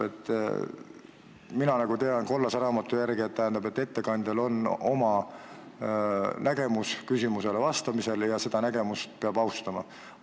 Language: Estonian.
Mina tean tänu kollasele raamatule, et ettekandjal on oma arusaam küsimustele vastamisest, ja seda peab austama.